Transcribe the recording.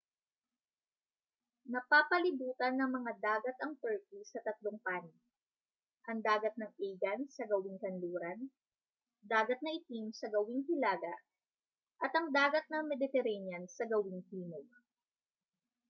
napapalibutan ng mga dagat ang turkey sa tatlong panig ang dagat ng aegean sa gawing kanluran dagat na itim sa gawing hilaga at ang dagat ng mediterranean sa gawing timog